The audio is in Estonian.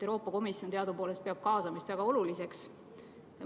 Euroopa Komisjon peab kaasamist teadupoolest väga oluliseks.